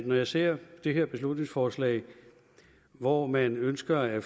når jeg ser det her beslutningsforslag hvor man ønsker at